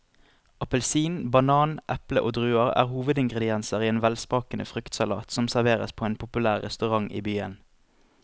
Appelsin, banan, eple og druer er hovedingredienser i en velsmakende fruktsalat som serveres på en populær restaurant i byen.